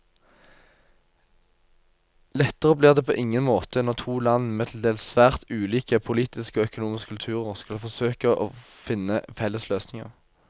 Lettere blir det på ingen måte når to land med til dels svært ulike politiske og økonomiske kulturer skal forsøke å finne felles løsninger.